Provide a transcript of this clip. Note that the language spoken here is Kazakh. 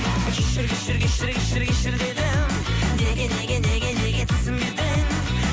кешір кешір кешір кешір кешір дедім неге неге неге неге түсінбедің